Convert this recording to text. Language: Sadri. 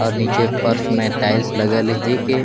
और नीचे फर्स में टाइल्स लगल हे के --